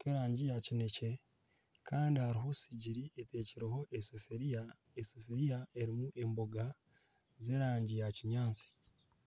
k'erangi ya kinekye kandi hariho sigiri etekyireho esafuriya erimu emboga z'erangi ya kinyaatsi.